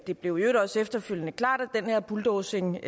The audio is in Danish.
det blev i øvrigt også efterfølgende klart at den her bulldozing